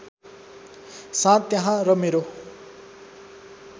साँध त्यहाँ र मेरो